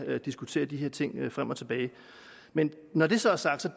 diskutere de her ting frem og tilbage men når det så er sagt